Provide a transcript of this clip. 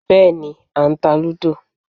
Bẹ́ẹ̀ni, à ń ta lúdò